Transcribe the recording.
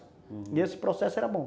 E esse processo era bom.